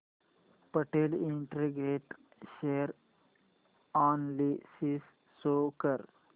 Patel integrate share analysis show कर